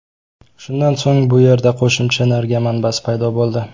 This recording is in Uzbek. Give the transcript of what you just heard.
Shundan so‘ng bu yerda qo‘shimcha energiya manbasi paydo bo‘ldi.